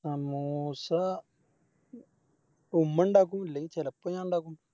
സമൂസ ഉമ്മണ്ടാക്കും ഇല്ലെങ്കില് ചെലപ്പോ ഞാണ്ടാക്കും